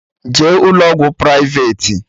Jee ụlọ ọgwụ privati!